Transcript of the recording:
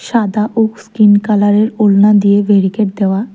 সাদা ও স্কিন কালারের ওড়না দিয়ে বেরিকেড দেওয়া।